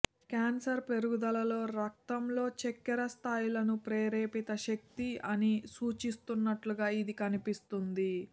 cancer పెరుగుదలలో రక్తంలో చక్కెర స్థాయిలను ప్రేరేపిత శక్తి అని సూచిస్తున్నట్లుగా ఇది కనిపిస్తుంది